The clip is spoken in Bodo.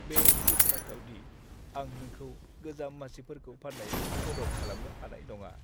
बे दुखुनांथाव दि आं नोंखौ गोजाम मासिफोरखौ फान्नायाव मदद खालामनो हानाय नङा।